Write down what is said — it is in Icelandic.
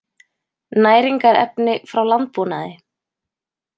Næringarefni frá landbúnaði